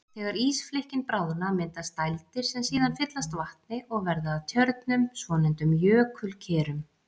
Þegar ísflikkin bráðna myndast dældir sem síðan fyllast vatni og verða að tjörnum, svonefndum jökulkerum.